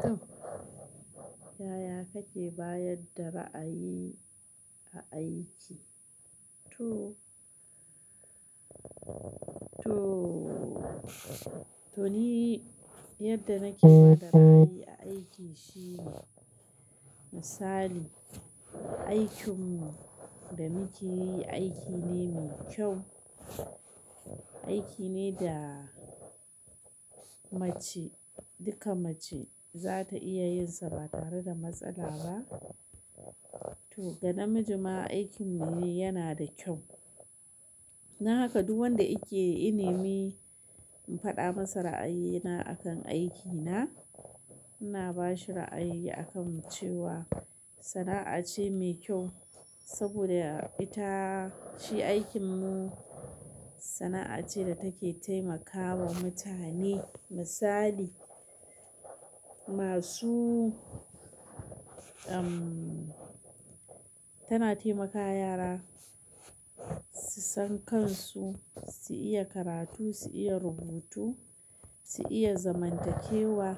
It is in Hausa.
To, yaya kake bayar da ra'ayi a aiki? To, to, to ni yadda nake ba da ra'ayi a aiki shine misali, aikin da muke yi aiki ne mai kyau, aiki ne da mace duka mace za ta iya yin sa ba tare da matsala ba. To ga namiji ma aikin mu ne yana da kyau. Don haka duk wanda yake, yane mi faɗa masa ra'ayina akan aikina. Ina ba shi ra'ayi akan cewa sana'a ce mai kyau saboda ita shi aikin mu sana'a ce da take taimakawa mutane misali masu, tana taimaka yara su san kansu, su iya karatu, su iya rubutu, su iya zamantakewa